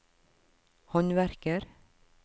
håndverker